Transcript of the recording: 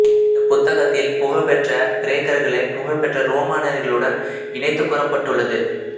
இந்தப் புத்தகத்தில் புகழ்பெற்ற கிரேக்கர்களை புகழ்பெற்ற ரோமானியர்களுடன் இணைத்து கூறப்பட்டுள்ளது